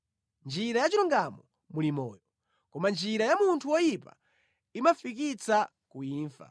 Mʼnjira yachilungamo muli moyo; koma njira ya munthu woyipa imafikitsa ku imfa.